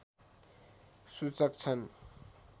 सूचक छन्